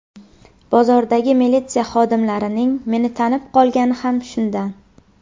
Bozordagi militsiya xodimlarining meni tanib qolgani ham shundan.